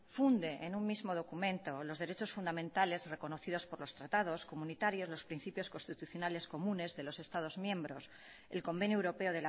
funde en un mismo documento los derechos fundamentales reconocidos por los tratados comunitarios los principios constitucionales comunes de los estados miembros el convenio europeo